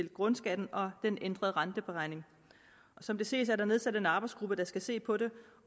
grundskatten og den ændrede renteberegning som det ses er der nedsat en arbejdsgruppe der skal se på det